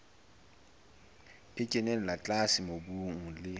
e kenella tlase mobung le